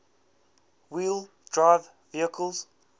wheel drive vehicles